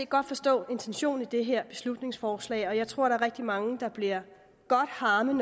godt forstå intentionen i det her beslutningsforslag og jeg tror der er rigtig mange der bliver godt harme